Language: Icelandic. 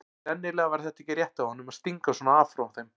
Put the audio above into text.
Sennilega var þetta ekki rétt af honum að stinga svona af frá þeim.